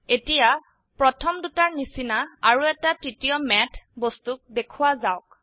এতিয়া প্ৰথম দুটাৰ নিচিনা আৰো এটা তৃতীয় ম্যাথ বস্তুক দেখোৱা যাওক